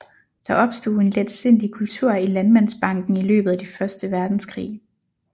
Der opstod en letsindig kultur i Landmandsbanken i løbet af første verdenskrig